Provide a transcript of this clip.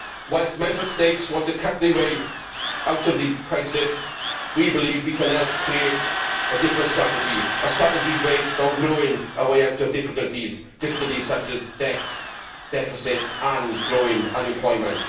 Whilst Member States want to cut their way out of the crisis, we believe we can help create a different strategy a strategy based on growing our way out of difficulties such as debt, deficit and growing unemployment.